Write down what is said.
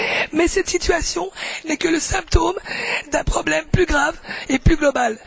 Mais cette situation n'est que le symptôme d'un problème plus grave et plus global.